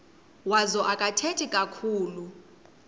wazo akathethi kakhulu